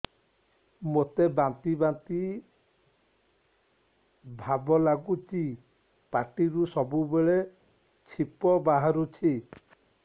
ମୋତେ ବାନ୍ତି ବାନ୍ତି ଭାବ ଲାଗୁଚି ପାଟିରୁ ସବୁ ବେଳେ ଛିପ ବାହାରୁଛି